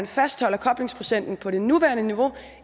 fastholder koblingsprocenten på det nuværende niveau